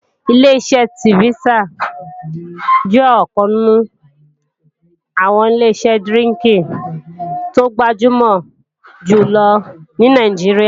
Ileṣẹ́ ṣífítà jẹ́ ọ̀kan nínú àwọn Ileṣẹ́ dírínkì tó gbajúmò jùlọ ní Nàìjíríà